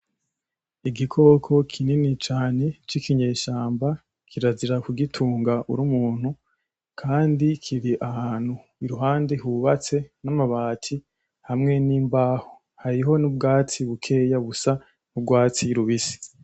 Igikoko kinini cane c'ikinyeshamba, kirazira kugitunga uri umuntu kandi kiri ahantu iruhande hubatse n'amabati hamwe n'imbaho n'ubwatsi bukeya busa n'urwatsi rubisi.